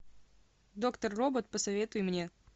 доктор робот посоветуй мне